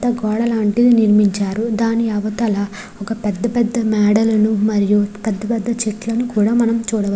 పెద్ద గోడ లాంటిది నిర్మించారు. దాని అవతల ఒక పెద్ద పెద్ద మేడలను మరియు పెద్ద పెద్ద చెట్లను కూడా మనం చూడవచ్--